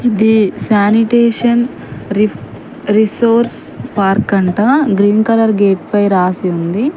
ఇది సానిటేషన్ రి resource park అంటా గ్రీన్ కలర్ గేట్ పై రాసి ఉంది.